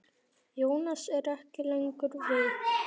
Jónas er ekki lengur við.